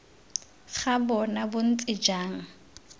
ga bona bo ntse jang